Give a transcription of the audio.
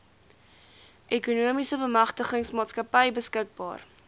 ekonomiese bemagtigingsmaatskappy beskikbaar